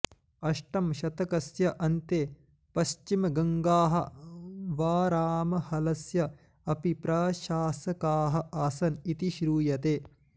अष्टमशतकस्य अन्ते पश्चिमगङ्गाः बारामहलस्य अपि प्रशासकाः आसन् इति श्रूयते